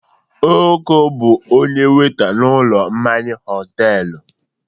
Oko bụ onye wẹ́ta n'ụlọ mmanya họtelụ.